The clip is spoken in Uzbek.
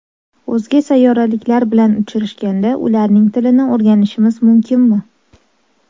O‘zga sayyoraliklar bilan uchrashganda ularning tilini o‘rganishimiz mumkinmi?